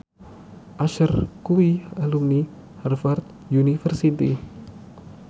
Usher kuwi alumni Harvard university